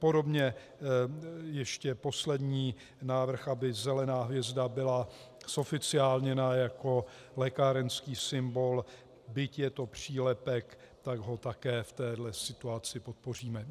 Podobně ještě poslední návrh, aby zelená hvězda byla zoficiálněna jako lékárenský symbol, byť je to přílepek, tak ho také v této situace podpoříme.